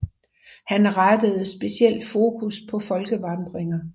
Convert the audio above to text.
Han rettede specielt fokus på folkevandringer